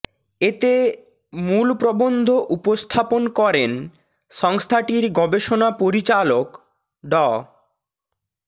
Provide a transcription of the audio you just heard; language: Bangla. এতে মূল প্রবন্ধ উপস্থাপন করেন সংস্থাটির গবেষণা পরিচালক ড